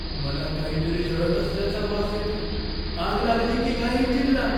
मला काहीतरी जळत असल्याचा वास येतोय. आग लागली की काय इंजिनला?